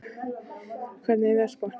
Auðberg, hvernig er veðurspáin?